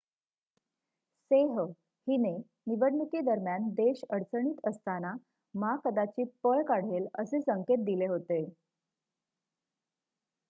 सेह हिने निवडणुकीदरम्यान देश अडचणीत असताना मा कदाचित पळ काढेल असे संकेत दिले होते